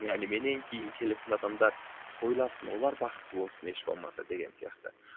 яғни менен кейін келетін адамдар тойласын олар бақытты болсын еш болмаса деген сияқты